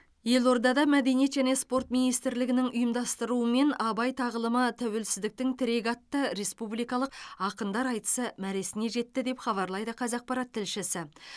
елордада мәдениет және спорт министрлігінің ұйымдастыруымен абай тағылымы тәуелсіздіктің тірегі атты республикалық ақындар айтысы мәресіне жетті деп хабарлайды қазақпарат тілшісі